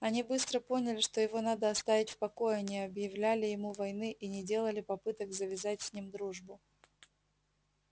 они быстро поняли что его надо оставить в покое не объявляли ему войны и не делали попыток завязать с ним дружбу